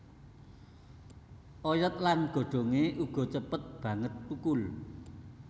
Oyot lan godhongé uga cepet banget thukul